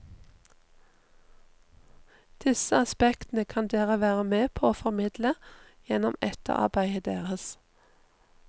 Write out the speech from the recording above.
Disse aspektene kan dere være med på å formidle gjennom etterarbeidet deres.